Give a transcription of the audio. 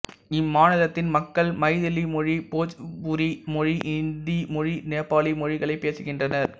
இம்மாநிலத்தின் மக்கள் மைதிலி மொழி போஜ்புரி மொழி இந்தி மொழி நேபாளி மொழிகளை பேசுகின்றனர்